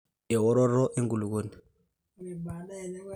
eworoto e nkulupuoni